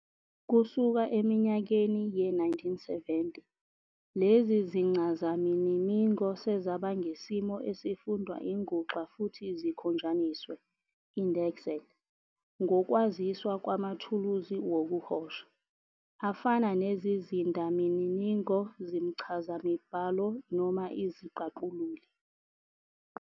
Kusuka eminyakeni ye-1970, lezi zincazaminimingo sezaba ngesimo esifundwa INguxa futhi zikhonjaniswe, indexed, ngokwaziswa kwamathuluzi wokuhosha, afana nezizindamininingo zimchazamibhalo noma iziqaqululi.